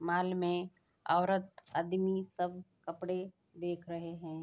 Mall में औरत आदमी सब कपड़े देख रहे हैं।